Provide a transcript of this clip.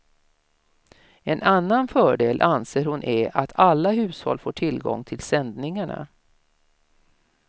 En annan fördel anser hon är att alla hushåll får tillgång till sändningarna.